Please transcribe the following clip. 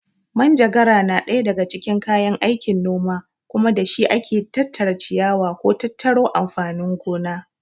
Manjagara na ɗaya daga cikin kayan aikin noma kuma da shi ake tattara ciyawa ko tattaro amfanin gona.